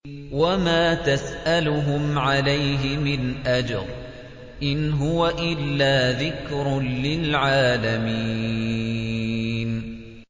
وَمَا تَسْأَلُهُمْ عَلَيْهِ مِنْ أَجْرٍ ۚ إِنْ هُوَ إِلَّا ذِكْرٌ لِّلْعَالَمِينَ